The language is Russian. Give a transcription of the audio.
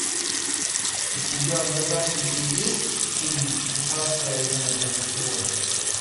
у тебя в загашнике есть фильм техасская резня бензопилой